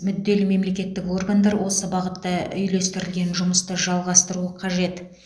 мүдделі мемлекеттік органдар осы бағытта үйлестірілген жұмысты жалғастыруы қажет